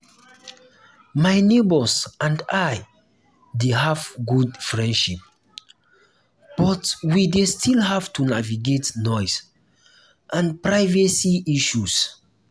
my neighbors and i dey have good relationship but we dey still have to navigate noise and privacy issues.